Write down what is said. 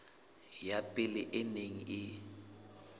ya pele e neng e